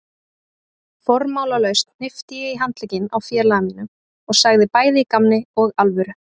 Formálalaust hnippti ég í handlegginn á félaga mínum og sagði bæði í gamni og alvöru